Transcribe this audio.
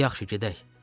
Di yaxsı, gedək!